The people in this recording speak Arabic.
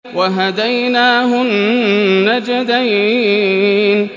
وَهَدَيْنَاهُ النَّجْدَيْنِ